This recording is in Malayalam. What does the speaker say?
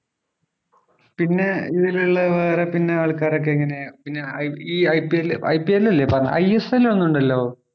പിന്നെ ഇതിലുള്ള വേറെ പിന്നെ ആൾക്കാരൊക്കെ എങ്ങനെയാ പിന്നെ ഐ ഈ IPLIPL അല്ലെ പറഞ്ഞെ ISL ഒരെണ്ണം ഉണ്ടല്ലോ